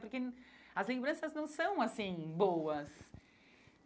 Porque as lembranças não são, assim, boas.